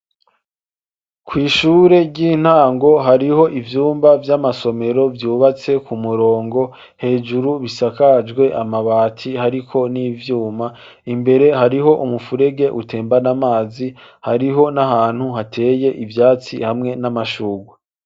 Kw'ishure ry'intango hariho ivumba vy'amasomero vyubatswe ku murongo hejuru bisakajwe amabati hariko n'ivyuma, imbere hariho umufurege utembana amazi hariho n'ahantu hateye ivyatsi hamwe n'amashurwe.